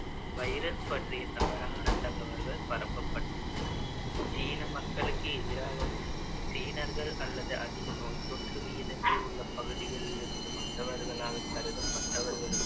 virus பற்றிய தவறான தகவல்கள் பரப்பப்பட்ட~ சீன மக்களுக்கு எதிராகவும், சீனர்கள் அல்லது அதிக நோய்த்தொற்று விகிதங்கள் உள்ள பகுதிகளிலிருந்து வந்தவர்களாகக் கருதப்பட்டவர்களுக்கு